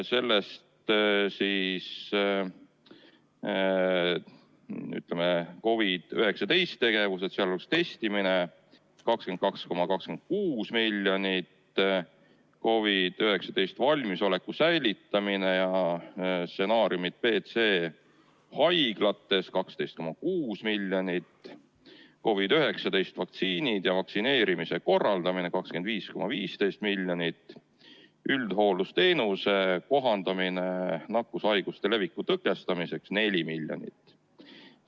Sellest COVID-19-ga seotud tegevused, sealhulgas testimine, moodustasid 22,26 miljonit, COVID-19 valmisoleku säilitamine ja stsenaariumid B ja C haiglates 12,6 miljonit, COVID-19 vaktsiinid ja vaktsineerimise korraldamine 25,15 miljonit ning üldhooldusteenuse kohandamine nakkushaiguste leviku tõkestamiseks 4 miljonit eurot.